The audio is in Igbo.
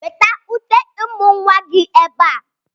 Weta uté ịmụ̀ nwa gị ebe a!